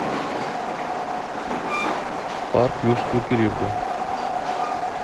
парк юрского периода